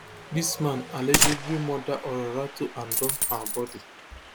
dis man allegedly murder olorato and dump her body